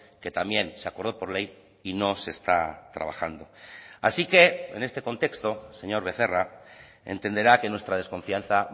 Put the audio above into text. que también se acordó por ley y no se está trabajando así que en este contexto señor becerra entenderá que nuestra desconfianza